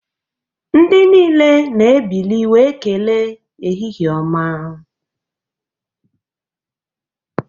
Ndị niile na-ebili wee kelee ehihie ọma